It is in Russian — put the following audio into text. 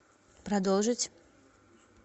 продолжить